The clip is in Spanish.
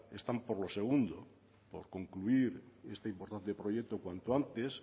están por lo segundo por concluir este importante proyecto cuanto antes